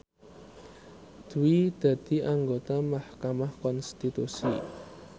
Dwi dadi anggota mahkamah konstitusi